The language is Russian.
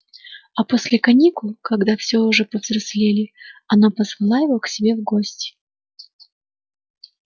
а после каникул когда все уже очень повзрослели она позвала его к себе в гости